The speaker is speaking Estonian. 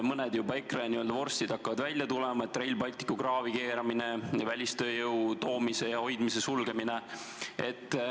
Mõned EKRE vorstid hakkavad juba välja tulema: Rail Balticu kraavi keeramine, välistööjõu sissetoomise ja siin hoidmise sulgemine.